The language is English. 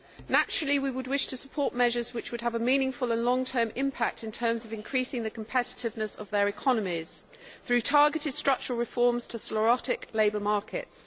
Naturally we would wish to support measures which would have a meaningful and long term impact in terms of increasing the competitiveness of their economies through targeted structural reforms to sclerotic labour markets.